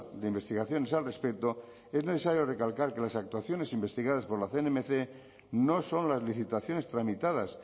de investigaciones al respeto es necesario recalcar que las actuaciones investigadas por la cnmc no son las licitaciones tramitadas